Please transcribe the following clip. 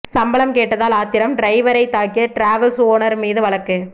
சம்பளம் கேட்டதால் ஆத்திரம் டிரைவரை தாக்கிய டிராவல்ஸ் ஓனர் மீது வழக்கு